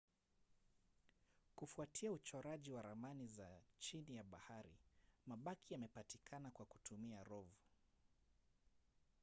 kufuatia uchoraji wa ramani za chini ya bahari mabaki yamepatikana kwa kutumia rov